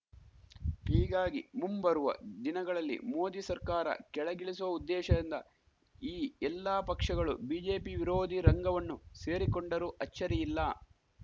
ಹೀಗಾಗಿ ಮುಂಬರುವ ದಿನಗಳಲ್ಲಿ ಮೋದಿ ಸರ್ಕಾರ ಕೆಳಗಿಳಿಸುವ ಉದ್ದೇಶದಿಂದ ಈ ಎಲ್ಲಾ ಪಕ್ಷಗಳು ಬಿಜೆಪಿ ವಿರೋಧಿ ರಂಗವನ್ನು ಸೇರಿಕೊಂಡರೂ ಅಚ್ಚರಿಯಿಲ್ಲ